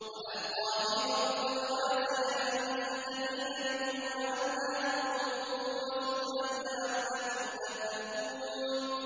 وَأَلْقَىٰ فِي الْأَرْضِ رَوَاسِيَ أَن تَمِيدَ بِكُمْ وَأَنْهَارًا وَسُبُلًا لَّعَلَّكُمْ تَهْتَدُونَ